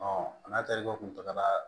n'a tarikɛ kun taga la